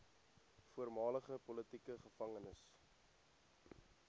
voormalige politieke gevangenes